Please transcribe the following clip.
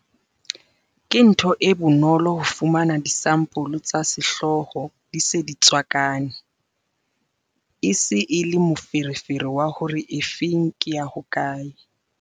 Ke ntho e bonolo ho fumana disampole tsa sehlooho di se di tswakane, e se e le moferefere wa hore efeng ke ya hokae.